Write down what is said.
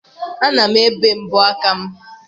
Ana m ebe mbọ aka m.